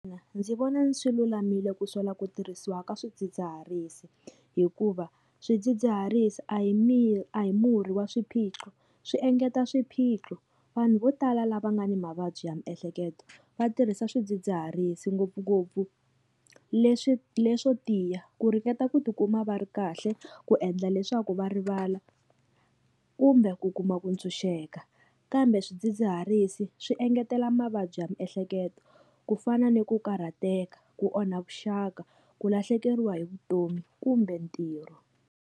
Ndzi vona swi lulamile ku sola ku tirhisiwa ka swidzidziharisi hikuva swidzidziharisi a hi a hi murhi wa swiphiqo swi engeta swiphiqo vanhu vo tala lava nga ni mavabyi ya miehleketo va tirhisa swidzidziharisi ngopfungopfu leswi leswo tiya ku ringeta ku tikuma va ri kahle ku endla leswaku va rivala kumbe ku kuma ku tshunxeka kambe swidzidziharisi swi engetela mavabyi ya miehleketo ku fana ni ku karhateka ku onha vuxaka ku lahlekeriwa hi vutomi kumbe ntirho.